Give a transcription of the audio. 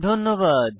ধন্যবাদ